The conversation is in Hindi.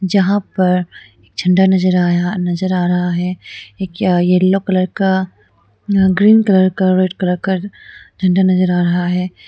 जहाँ पर एक झंडा नज़र आया नज़र आ रहा है एक अ येल्लो कलर का ग्रीन कलर का रेड कलर का झंडा नजर आ रहा है।